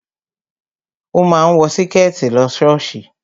O máa ń wọ Síkẹ̀tí lọ ṣọ́ọ̀ṣì